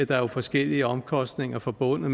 der er jo forskellige omkostninger forbundet